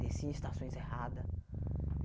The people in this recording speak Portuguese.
Descia em estações erradas.